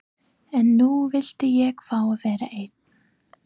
En nú vildi ég fá að vera einn.